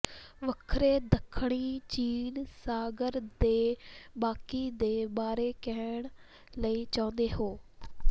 ਵੱਖਰੇ ਦੱਖਣੀ ਚੀਨ ਸਾਗਰ ਦੇ ਬਾਕੀ ਦੇ ਬਾਰੇ ਕਹਿਣ ਲਈ ਚਾਹੁੰਦੇ ਹੋ